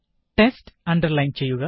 text underline ചെയ്യുക